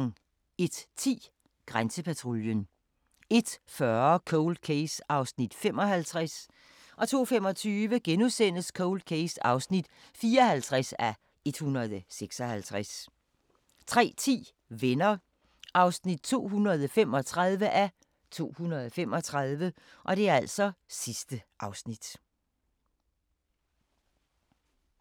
01:10: Grænsepatruljen 01:40: Cold Case (55:156) 02:25: Cold Case (54:156)* 03:10: Venner (235:235)